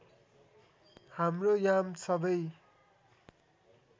हाम्रो याम सबै